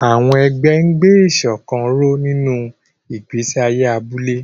Àwọn ẹgbẹ́ ń gbé ìṣọ̀kan ró nínú ìgbésí ayé abúlé.